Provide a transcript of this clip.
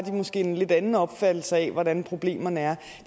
en lidt anden opfattelse af hvordan problemerne er